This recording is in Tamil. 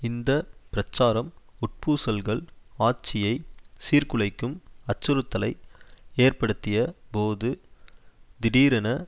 இந்த பிரச்சாரம் உட்பூசல்கள் ஆட்சியை சீர்குலைக்கும் அச்சுறுத்தலை ஏற்படுத்திய போது திடீரென